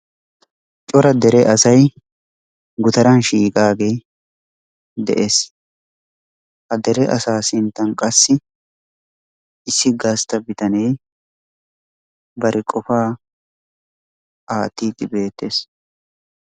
Cora dere asay gutaraan shiiqaagee de'ees. Ha dere asaa sinttan qassi issi gastta bitanee bari qofaa aattidi beettees.